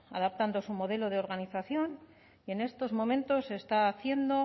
adaptando su modelo de organización en estos momentos se está haciendo